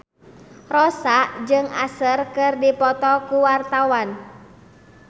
Rossa jeung Usher keur dipoto ku wartawan